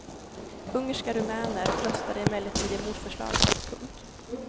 Ungerska rumäner röstade emellertid emot förslaget. punkt